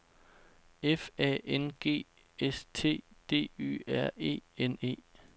F A N G S T D Y R E N E